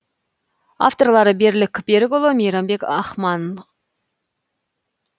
авторлары берлік берікұлы мейрамбек ахмаханов